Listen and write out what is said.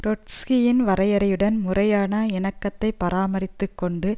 ட்ரொட்ஸ்கியின் வரையறையுடன் முறையான இணக்கத்தை பராமரித்து கொண்டு